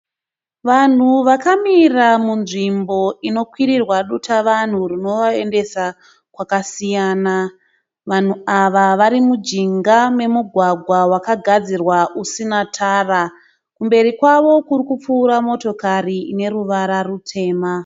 Vanhu vakamira munzvimbo inokwirirwa dutavanhu rinovaendesa kwakasiyana, vanhu ava vari mujinga memugwagwa wakagadzirwa usina tara, kumberi kwavo kune motokari ine ruvara rwutema.